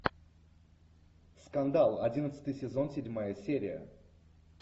скандал одиннадцатый сезон седьмая серия